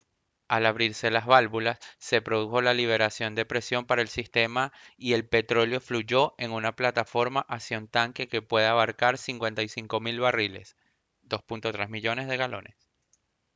al abrirse las válvulas se produjo la liberación de presión para el sistema y el petróleo fluyó en una plataforma hacia un tanque que puede abarcar 55 000 barriles 2.3 millones de galones